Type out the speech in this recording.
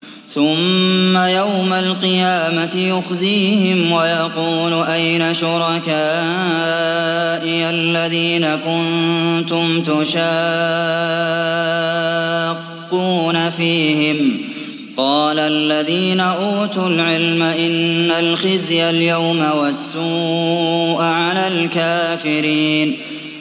ثُمَّ يَوْمَ الْقِيَامَةِ يُخْزِيهِمْ وَيَقُولُ أَيْنَ شُرَكَائِيَ الَّذِينَ كُنتُمْ تُشَاقُّونَ فِيهِمْ ۚ قَالَ الَّذِينَ أُوتُوا الْعِلْمَ إِنَّ الْخِزْيَ الْيَوْمَ وَالسُّوءَ عَلَى الْكَافِرِينَ